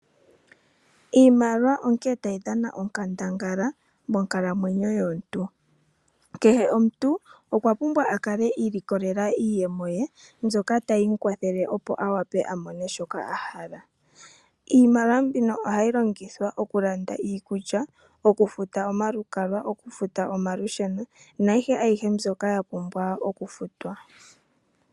Iimaliwa onkene tayi dhana onkandangala monkalamwenyo yomuntu. Kehe omuntu okwapumbwa okukala iilikolela iiyemo ye mbyoka tayi mu kwathele opo a wape a mone shoka a hala, iimaliwa mbino ohayi longithwa okulanda iikulya, okufuta omalukalwa, okufuta olusheno naayihe mbyoka ya pumbwa okufutwa.